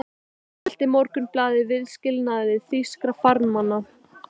Enn mótmælti Morgunblaðið viðskilnaði þýskra farmanna.